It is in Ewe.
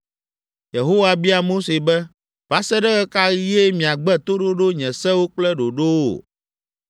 Yehowa bia Mose be, “Va se ɖe ɣe ka ɣie miagbe toɖoɖo nye sewo kple ɖoɖowo?